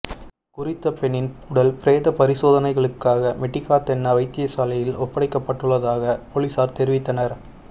குறித்த பெண்ணின் உடல் பிரேத பரிசோதனைகளுக்காக மெட்டிகாத்தென்ன வைத்தியசாலையில் ஒப்படைக்கப்பட்டுள்ளதாக பொலிஸார் தெரிவித்ததனர்